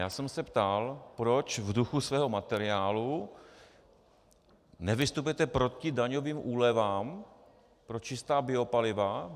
Já jsem se ptal, proč v duchu svého materiálu nevystupujete proti daňovým úlevám pro čistá biopaliva.